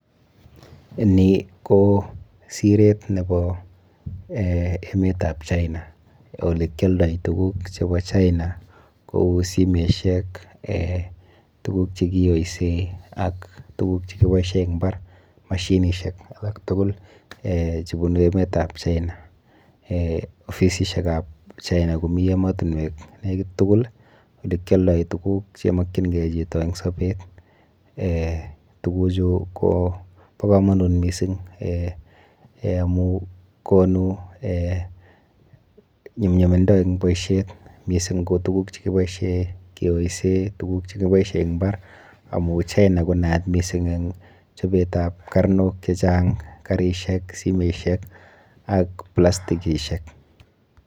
Nii ko sireet nebo emetab China elekioldoen tukuk chebo China kouu simoishek, tukuk chekiyoisen ak tukuk chekiboishen en imbar, mashinishek alak tukul chebunu emetab China, ofisishekab China komii emotinwek nekit tukul elekioldoen tukuk chemokying'ee chito en sobeet, tukuchu kobo komonut mising amun konu nyumnyumindo en boishet, mising ko tukuk chekiboishen kiyoisen, tukuk chekiboishen en imbar amun China ko nayat mising en chobetab karnok chechang, karishek, simoishek ak plastikishek.